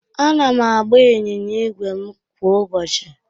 Ana m agba ịnyịnya ígwè m kwa ụbọchị